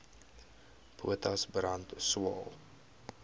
potas brand swael